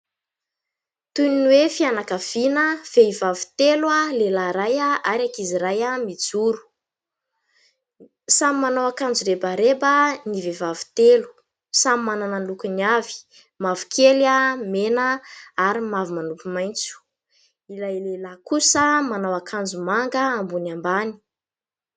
Toy ny hoe fianakaviana : vehivavy telo, lehilahy iray ary ankizy iray mijoro. Samy manao akanjo rebareba ny vehivavy telo, samy manana ny lokony avy, mavokely ary mena ary mavo manopy maitso ; ilay lehilahy kosa manao akanjo manga ambony ambany.